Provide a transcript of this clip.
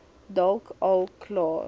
dalk al klaar